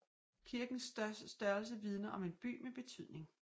Kirkens størrelse vidner om en by med betydning